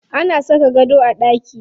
Ana saka gado a ɗaki.